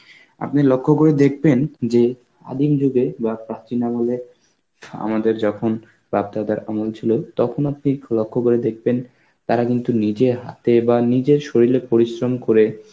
আপনি লক্ষ্য করে দেখবেন যে আদিম যুগে বা প্রাচীন আমলে আমাদের যখন প্রাপ্তদ্বার আমল ছিল তখন অব্দি খু~ লক্ষ্য করে দেখবেন তারা কিন্তু নিজের হাতে বা নিজের শরীরে পরিশ্রম করে